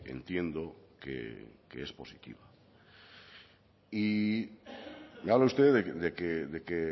entiendo que es positiva me habla usted de que